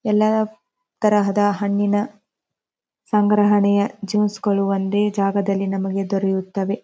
ಎಲ್ಲ ತರಹದ ಹಣ್ಣಿನ ಸಂಗ್ರಹಣೆಯ ಜ್ಯೂಸು ಗಳು ಒಂದೇ ಜಾಗದಲ್ಲಿ ನಮಗೆ ದೊರೆಯುತ್ತವೆ.